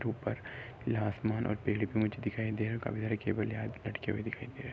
ऊपर खिला आसमान और टेलीपोच दिखाई दे रहे हैं और काफी सारे केबल यहाँ लटके हुए दिखाई दे रहे हैं।